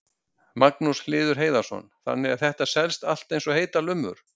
Magnús Hlynur Hreiðarsson: Þannig að þetta selst allt eins og heitar lummur?